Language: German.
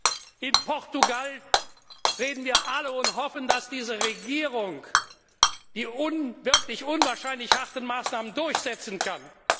In Bezug auf Portugal reden wir alle und hoffen, dass die Regierung die wirklich unwahrscheinlich harten Maßnahmen durchsetzen kann.